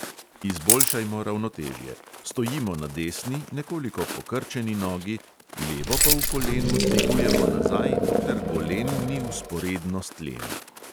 Izboljšajmo ravnotežje – stojimo na desni, nekoliko pokrčeni nogi, levo pa v kolenu dvigujemo nazaj, dokler golen ni vzporedno s tlemi.